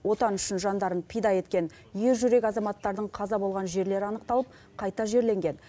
отан үшін жандарын пида еткен ер жүрек азаматтардың қаза болған жерлері анықталып қайта жерленген